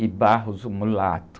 e, o mulato.